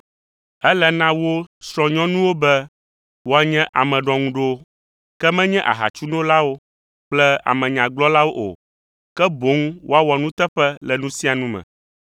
Ele na wo srɔ̃nyɔnuwo be woanye ame ɖɔŋuɖowo, ke menye ahatsunolawo kple amenyagblɔlawo o, ke boŋ woawɔ nuteƒe le nu sia nu me.